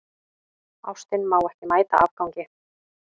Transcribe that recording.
Ástin má ekki mæta afgangi.